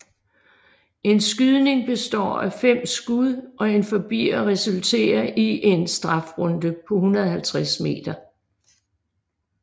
En skydning består af fem skud og en forbier resulterer i en strafrunde på 150 m